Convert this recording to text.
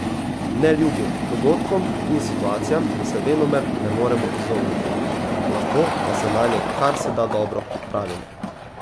Neljubim dogodkom in situacijam se venomer ne moremo izogniti, lahko pa se nanje kar se da dobro pripravimo.